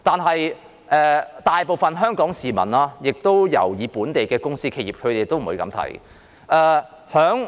不過，大部分香港市民尤其是本地的公司或企業現在不會這樣想。